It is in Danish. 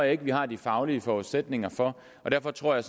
ikke at vi har de faglige forudsætninger for og derfor tror jeg